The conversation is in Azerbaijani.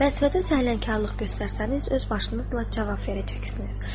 Vəzifədə səhlənkarlıq göstərsəniz öz başınızla cavab verəcəksiniz.